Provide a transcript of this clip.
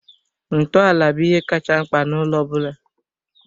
Ntọala bụ ihe kacha mkpa na ụlọ ọ bụla